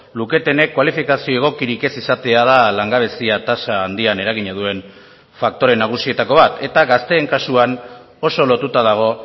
luketenek kualifikazio egokirik ez izatea da langabezia tasa handian eragina duen faktore nagusietako bat eta gazteen kasuan oso lotuta dago